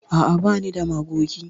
A'a, ba ni da magogi.